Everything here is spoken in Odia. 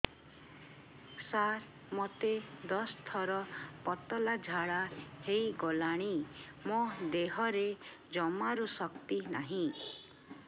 ସାର ମୋତେ ଦଶ ଥର ପତଳା ଝାଡା ହେଇଗଲାଣି ମୋ ଦେହରେ ଜମାରୁ ଶକ୍ତି ନାହିଁ